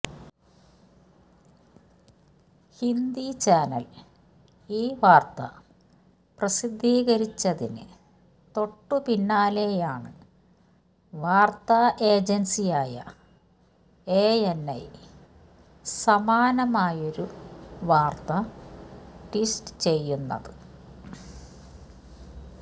Hindi channel ഈ വാർത്ത പ്രസിദ്ധീകരിച്ചതിന് തൊട്ടുപിന്നാലെയാണ് വാർത്താ ഏജൻസിയായ എഎൻഐ സമാനമായൊരു വാർത്ത ട്വീറ്റ് ചെയ്യുന്നത്